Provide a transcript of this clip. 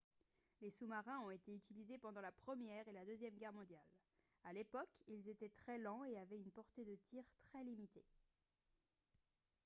les sous-marins ont été utilisés pendant la première et la deuxième guerre mondiale à l'époque ils étaient très lents et avaient une portée de tir très limitée